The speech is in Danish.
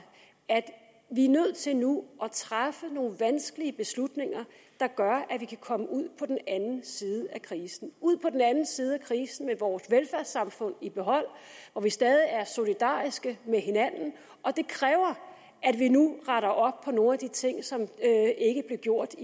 at vi er nødt til nu at træffe nogle vanskelige beslutninger der gør at vi kan komme ud på den anden side af krisen ud på den anden side af krisen med vores velfærdssamfund i behold hvor vi stadig er solidariske med hinanden og det kræver at vi nu retter op på nogle af de ting som ikke blev gjort